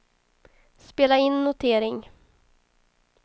spela in notering